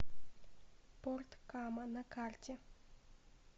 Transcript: порт кама на карте